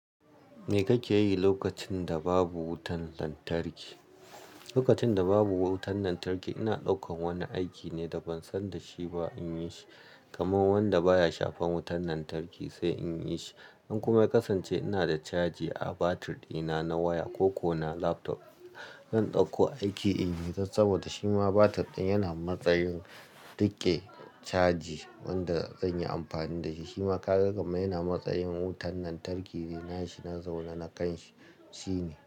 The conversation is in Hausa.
Me kake yi lokacin da babu wutar lantarki? Lokacin da babu wutar lantarki, ina ɗaukan wani aiki ne da ban san da shi ba in yi shi. Kamar wanda baya shafar wutar lantarki sai in yi shi. In kuma ya kasance ina da caji a batir dina na waya ko ko na laptop. Zan ɗauko aiki in yi don saboda shima batir ɗin yana matsayar riƙe caji wanda zan yi amfani da shi. Shi ma ka ga gamai yana matsayar wutan lantarki ina shi na zaune na kan shi ne.